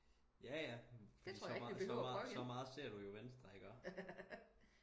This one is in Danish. ja ja så meget så meget så meget ser du jo venstre ikke også